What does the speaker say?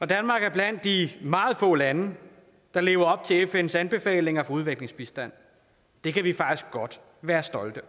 danmark er blandt de meget få lande der lever op til fns anbefalinger om udviklingsbistand det kan vi faktisk godt være stolte